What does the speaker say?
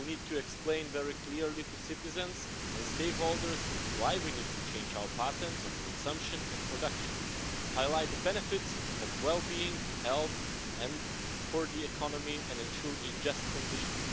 We will need to explain very clearly to citizens and stakeholders why we need to change our patterns of consumption and production, highlight the benefits for well-being, health and for the economy, and ensure a just transition.